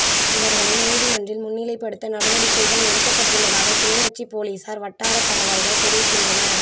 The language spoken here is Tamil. இவர்களை நீதிமன்றில் முன்னிலைப்படுத்த நடவடிக்கைகள் எடுக்கப்பட்டுள்ளதாக கிளிநொச்சி பொலிசார் வட்டாரத் தகவல்கள் தெரிவிக்கின்றன